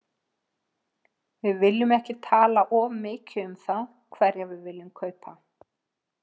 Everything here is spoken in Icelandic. Við viljum ekki tala of mikið um það hverja við viljum kaupa.